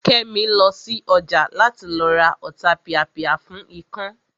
Kẹ́mi lọ sí ọjà láti lọ ra Ọ̀tapìàpìà fún ikán